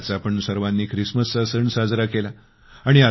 आत्ताच आपण सर्वांनी ख्रिसमसचा सण साजरा केला